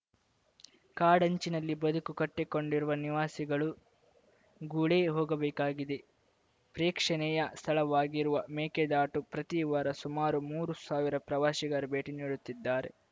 ಕಾಡಂಚಿನಲ್ಲಿ ಬದುಕು ಕಟ್ಟಿಕೊಂಡಿರುವ ನಿವಾಸಿಗಳು ಗುಳೆ ಹೋಗಬೇಕಾಗಿದೆ ಪ್ರೇಕ್ಷಣಿಯ ಸ್ಥಳವಾಗಿರುವ ಮೇಕೆದಾಟು ಪ್ರತಿವಾರ ಸುಮಾರು ಮೂರು ಸಾವಿರ ಪ್ರವಾಸಿಗರು ಭೇಟಿ ನೀಡುತ್ತಿದ್ದಾರೆ